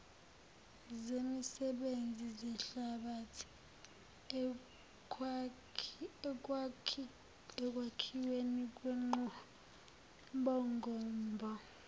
zemisebenzi zehlabathi ekwakhiwenikwenqubomgombo